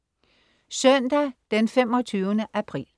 Søndag den 25. april